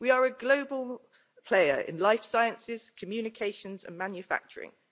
We are a global player in life sciences, communications and manufacturing.